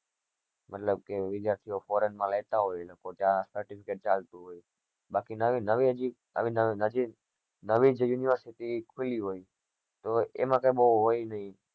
મતલબ કે વિદ્યાર્થી ઓ ફોરન માં રેહતા હોય ને ત્યાં certificate ચાલ તું હોય નવી નવી નવી university ખુલી હોય તો એમાં કઈ બહુ હોય ની